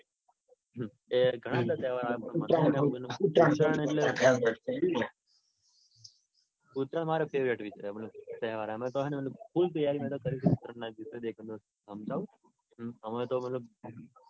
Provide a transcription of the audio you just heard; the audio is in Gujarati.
એ ઘણા બધા તહેવાર આવે હે પણ મને ઉત્તરાયણ મારો favourite વિષય હે મતલબ તહેવાર છે. અમે તો હે ને ખુબ તૈયારી કરી હમજવું? અમે તો મતલબ